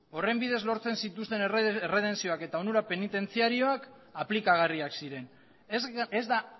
horren bidez lortzen zituzten erredentzioak eta onura penitentziarioak aplikagarriak ziren ez da